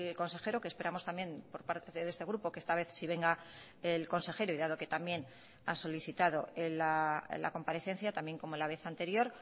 consejero que esperamos también por parte de este grupo que esta vez sí venga el consejero y dado que también ha solicitado la comparecencia también como la vez anterior